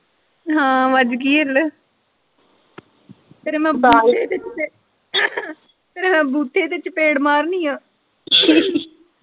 ਹਾਂ ਵੱਜ ਗਈ ਹਿੱਲ ਤੇਰੇ ਮੈਂ ਤੇਰੇ ਮੈਂ ਬੂਥੇ ਤੇ ਚਪੇੜ ਮਾਰਨੀ ਆ .